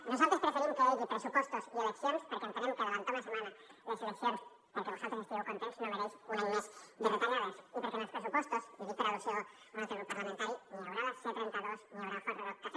nosaltres preferim que hi hagi pressupostos i eleccions perquè entenem que avançar una setmana les eleccions perquè vosaltres estigueu contents no mereix un any més de retallades i perquè en els pressupostos i ho dic per al·lusió a un altre grup parlamentari ni hi haurà a la c trenta dos ni hi haurà el hard rock cafe